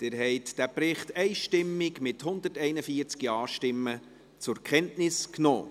Sie haben diesen Bericht einstimmig, mit 141 Ja-Stimmen, zur Kenntnis genommen.